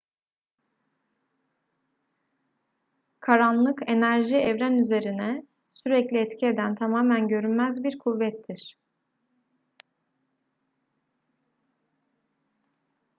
karanlık enerji evren üzerine sürekli etki eden tamamen görünmez bir kuvvettir